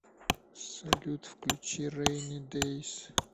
салют включи рэйни дэйс